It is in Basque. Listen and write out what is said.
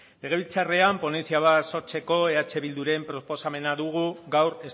legebiltzarrean ponentzia bat sortzeko eh bilduren proposamena dugu gaur